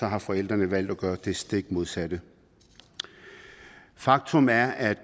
har forældrene valgt at gøre det stik modsatte faktum er at